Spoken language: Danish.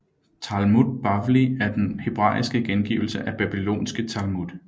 Talmud Bavli er den hebraiske gengivelse af babylonske Talmud